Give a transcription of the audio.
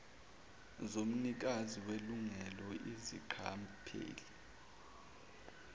zomnikazi welungelo izingqapheli